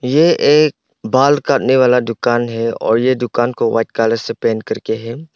ये एक बाल काटने वाला दुकान है और ये दुकान को व्हाईट कलर से पेंट कर के है।